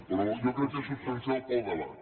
però jo crec que és substancial per al debat